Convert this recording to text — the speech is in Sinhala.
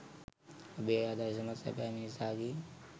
ඔබේ ආදර්ශමත් "සැබෑ මිණිසා" ගේ